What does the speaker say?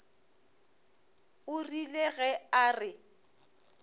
o rile ge a re